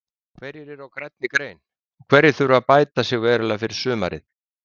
Hverjir eru á grænni grein og hverjir þurfa bæta sig verulega fyrir sumarið?